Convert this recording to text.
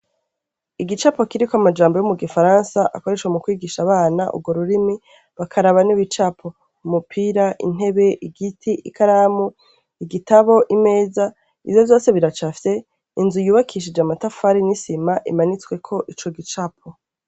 Igicapo kiriko amajambo yo mugifaransa, akoreshwa mukwigisha abana urwo rurimi bakaraba n'ibicapo ,umupira ,intebe, igiti , ikaramu, igitabo, imeza ,ivyo vyose biracafye, inzu yubakishije amatafari n'isima imanitsweko ico gicapo.